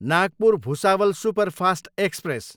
Nagpur, Bhusawal superfast express